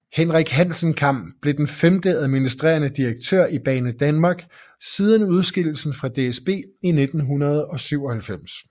Henrik Hassenkam blev den femte administrerende direktør i Banedanmark siden udskillelsen fra DSB i 1997